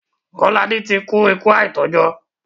Kọ́ládé ti kú ikú àìtọ́jọ́.